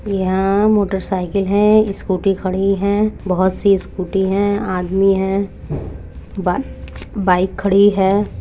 यहाँ motor cycle हैस्कुटी खड़ी है बहुत सी स्कुटी है आदमी है बाइ बाइक खडी हैं।